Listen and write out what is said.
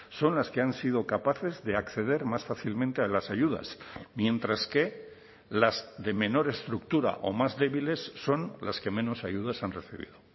son las que han sido capaces de acceder más fácilmente a las ayudas mientras que las de menor estructura o más débiles son las que menos ayudas han recibido